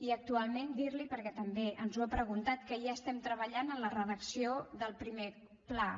i actualment dir li perquè també ens ho ha preguntat que ja estem treballant en la redacció del primer pla